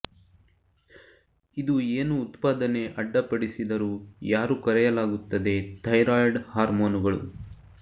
ಇದು ಏನು ಉತ್ಪಾದನೆ ಅಡ್ಡಿಪಡಿಸಿದರು ಯಾರು ಕರೆಯಲಾಗುತ್ತದೆ ಥೈರಾಯ್ಡ್ ಹಾರ್ಮೋನುಗಳು